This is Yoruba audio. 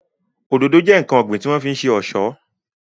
Òdòdó jẹ́ ǹkan ọ̀gbìn tí wọ́n fi ń ṣe ọ̀ṣọ́